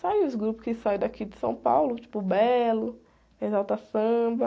Sai os grupos que saem daqui de São Paulo, tipo Belo, Exalta Samba.